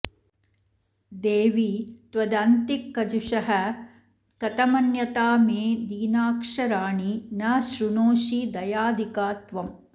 देवि त्वदन्तिकजुषः कथमन्यथा मे दीनाक्षराणि न श्रृणोषि दयाधिका त्वम्